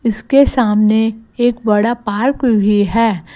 इसके सामने एक बड़ा पार्क भी है।